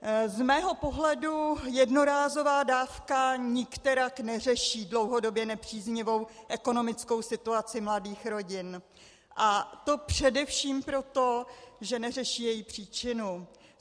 Z mého pohledu jednorázová dávka nikterak neřeší dlouhodobě nepříznivou ekonomickou situaci mladých rodin, a to především proto, že neřeší její příčinu.